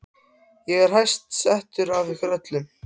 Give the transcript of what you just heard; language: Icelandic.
Ég er hæst settur af ykkur öllum!